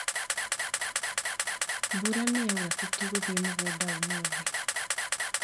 Mbura nĩyaura tũtigũthĩ mũgunda ũmũthĩ.